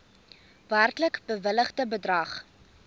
werklik bewilligde bedrag